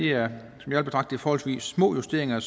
jeg vil betragte som forholdsvis små justeringer